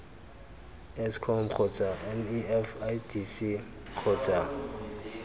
eskom kgotsa nef idc kgotsa